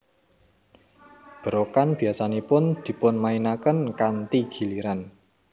Berokan biasanipun dipunmainaken kanthi giliran